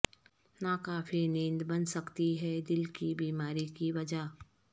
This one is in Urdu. ناکافی نیند بن سکتی ہے دل کی بیماری کی وجہ